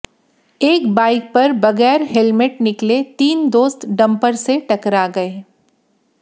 एक बाइक पर बगैर हेलमेट निकले तीन दोस्त डंपर से टकरा गए